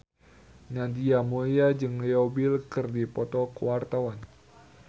Nadia Mulya jeung Leo Bill keur dipoto ku wartawan